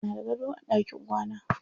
Muna da gado a ɗakin kwana.